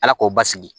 Ala k'o basigi